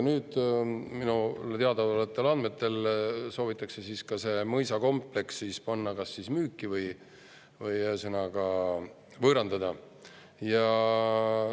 Mulle teadaolevatel andmetel soovitakse see mõisakompleks panna müüki ehk ühesõnaga, võõrandada.